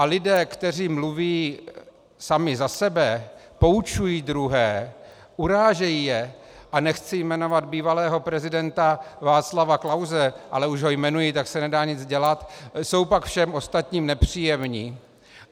A lidé, kteří mluví sami za sebe, poučují druhé, urážejí je - a nechci jmenovat bývalého prezidenta Václava Klause, ale už ho jmenuji, tak se nedá nic dělat - jsou pak všem ostatním nepříjemní.